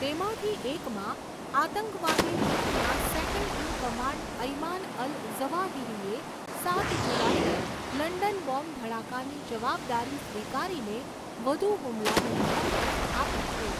તેમાંથી એકમાં, આતંકવાદી જૂથના second in command Ayman al ઝવાહિરીએ સાત જુલાઈના લંડન બોમ્બ ધડાકાની જવાબદારી સ્વીકારીને વધુ હુમલાની ધમકી આપી છે.